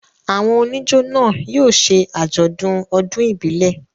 Àwọn oníjó náà yóò ṣe àjọ̀dún ọdún ìbílẹ̀.